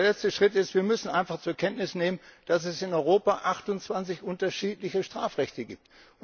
Und der letzte Schritt ist, dass wir einfach zur Kenntnis nehmen müssen, dass es in Europa 28 unterschiedliche Strafrechte gibt.